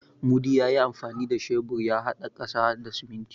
Mudi ya yi amfani da shebur ya haɗa ƙasa da siminti.